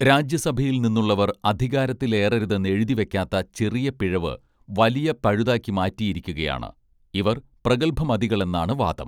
രാജ്യ സഭയിൽ നിന്നുള്ളവർ അധികാരത്തിലേറരുതെന്നെഴുതി വയ്ക്കാത്ത ചെറിയപിഴവ് വലിയൊരു പഴുതാക്കി മാറ്റിയിരിക്കുകയാണ് ഇവർ പ്രഗൽഭമതികളെന്നാണ് വാദം